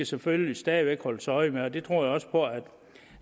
selvfølgelig stadig væk holdes øje med og det tror jeg også